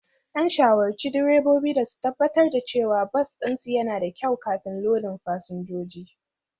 An shawarci direbobi da su tabbatar da cewa bas ɗinsu yana da kyau kafin lodin fasinjoji